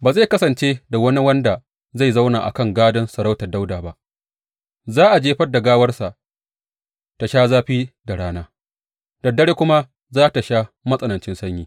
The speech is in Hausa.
Ba zai kasance da wani wanda zai zauna a kan gadon sarautar Dawuda ba; za a jefar da gawarsa ta sha zafi da rana da dare kuma ta sha matsanancin sanyi.